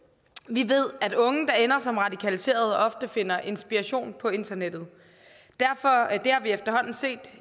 vi ved at unge der ender som radikaliserede ofte finder inspiration på internettet det har vi efterhånden set